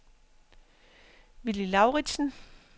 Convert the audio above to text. Willy Lauritzen